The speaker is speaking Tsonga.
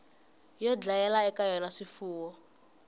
yo dlayela eka yona swifuwo